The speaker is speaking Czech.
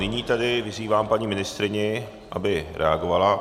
Nyní tedy vyzývám paní ministryni, aby reagovala.